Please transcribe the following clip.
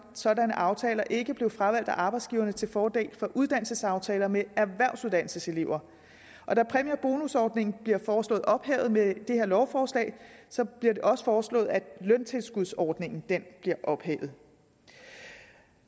sådanne aftaler ikke blev fravalgt af arbejdsgiveren til fordel for uddannelsesaftaler med erhvervsuddannelseselever da præmie og bonusordningen bliver foreslået ophævet med det her lovforslag bliver det også foreslået at løntilskudsordningen bliver ophævet